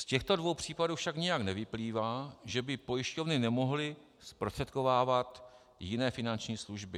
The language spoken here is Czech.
Z těchto dvou případů však nijak nevyplývá, že by pojišťovny nemohly zprostředkovávat jiné finanční služby.